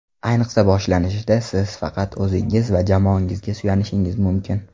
Ayniqsa boshlanishida, siz faqat o‘zingizga va jamoangizga suyanishingiz mumkin.